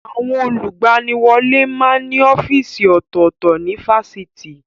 Àwọn olùgbaniwọlé máa ń ní ọ́fíìsì ọ̀tọ̀ọ̀tọ̀ ní Fáṣitì